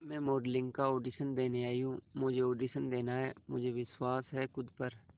मैं मॉडलिंग का ऑडिशन देने आई हूं मुझे ऑडिशन देना है मुझे विश्वास है खुद पर